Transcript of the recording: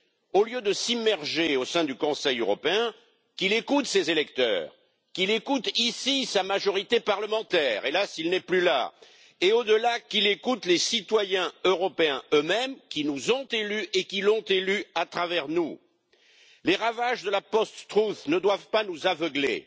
Au lieu de s'immerger au sein du Conseil européen, qu'il écoute ses électeurs. Qu'il écoute, ici, sa majorité parlementaire hélas, il n'est plus là et, au delà, qu'il écoute les citoyens européens eux mêmes, qui nous ont élus et qui l'ont élu à travers nous. Les ravages de la post truth ne doivent pas nous aveugler.